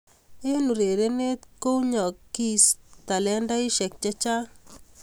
Eng urerenet kounyokis talentaisiek chechang